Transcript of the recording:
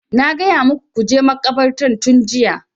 Na gaya muku ku je makabartar tun jiya!